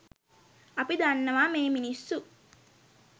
අපි දන්නවා මේ මිනිස්සු